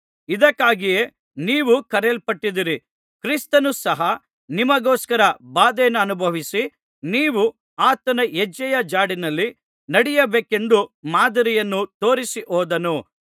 ಇದಕ್ಕಾಗಿಯೇ ನೀವು ಕರೆಯಲ್ಪಟ್ಟಿದ್ದೀರಿ ಕ್ರಿಸ್ತನು ಸಹ ನಿಮಗೋಸ್ಕರ ಬಾಧೆಯನ್ನನುಭವಿಸಿ ನೀವು ಆತನ ಹೆಜ್ಜೆಯ ಜಾಡಿಲ್ಲಿ ನಡೆಯಬೇಕೆಂದು ಮಾದರಿಯನ್ನು ತೋರಿಸಿ ಹೋದನು